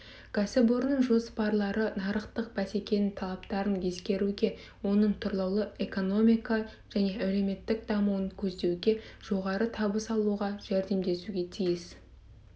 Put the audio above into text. кәсіпорынның жоспарлары нарықтың бәсекенің талаптарын ескеруге оның тұрлаулы экономика және әлеуметтік дамуын көздеуге жоғары табыс алуға жәрдемдесуге тиіс